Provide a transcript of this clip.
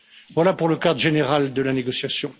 Voilà pour le cadre général de la négociation.